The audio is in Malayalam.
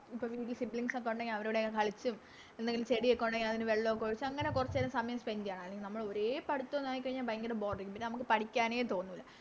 പിന്നെ വീട്ടില് Sibilings ഒക്കെ ഒണ്ടെങ്കില് അവരോടൊക്കെ കളിച്ചും എന്തെങ്കിലും ചെടിയൊക്കെ ഒണ്ടെങ്കില് അതിന് വെള്ളൊക്കെ ഒഴിച്ച് അങ്ങനെ കൊറച്ചേരാം സമയം Spend ചെയ്യണം അല്ലെങ്കിൽ നമ്മളോരേ പഠിത്തം ആയിക്കഴിഞ്ഞ ഭയങ്കര Boar പിന്നെ നമുക്ക് പഠിക്കാനെ തോന്നുല്ല